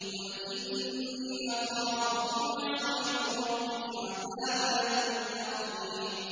قُلْ إِنِّي أَخَافُ إِنْ عَصَيْتُ رَبِّي عَذَابَ يَوْمٍ عَظِيمٍ